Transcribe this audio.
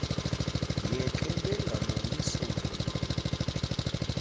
yeke bengaboni sisombululo